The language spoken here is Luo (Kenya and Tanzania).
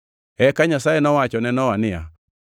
Eka Nyasaye nowacho ne Nowa niya,